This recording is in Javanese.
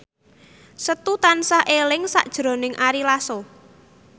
Setu tansah eling sakjroning Ari Lasso